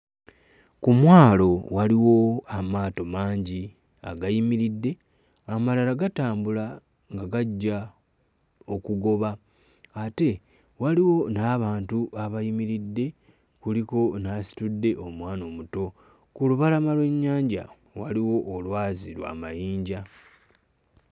Ku mwalo waliwo amaato mangi agayimiridde amalala gatambula nga gajja okugoba ate waliwo n'abantu abayimiridde kuliko n'asitudde omwana omuto. Ku lubalama lw'ennyanja waliwo olwazi lwa mayinja.